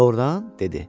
Doğrudan, dedi.